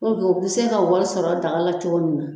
o bɛ se ka wari sɔrɔ daga la cogo min na.